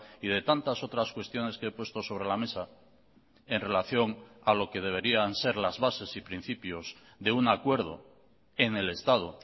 y de tantas otras cuestiones que he puesto sobre la mesa en relación a lo que deberían ser las bases y principios de un acuerdo en el estado